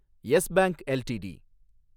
S Bank LTD